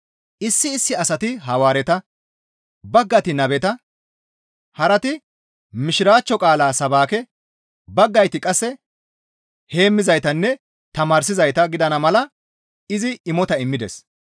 Issi issi asati Hawaareta, baggayti Nabeta, harati Mishiraachcho qaala sabaake, baggayti qasse heemmizaytanne tamaarsizayta gidana mala izi imota immides.